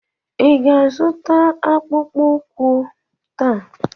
Ị ga-azụta akpụkpọ ụkwụ m taa?